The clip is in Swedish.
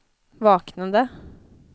vaknade